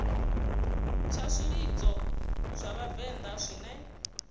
tsha zwilidzo zwa vhavenḓa zwine